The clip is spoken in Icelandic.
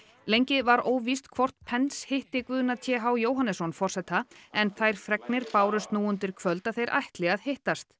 lengi var óvíst hvort hitti Guðna t h Jóhannesson forseta en þær fregnir bárust nú undir kvöld að þeir ætli að hittast